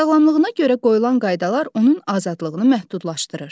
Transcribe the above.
Sağlamlığına görə qoyulan qaydalar onun azadlığını məhdudlaşdırır.